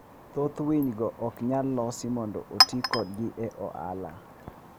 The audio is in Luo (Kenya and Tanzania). Thoth winygo ok nyal los mondo oti kodgi e ohala.